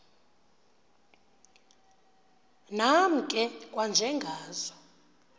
nam ke kwanjengazo